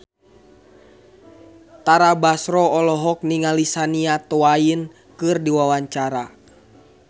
Tara Basro olohok ningali Shania Twain keur diwawancara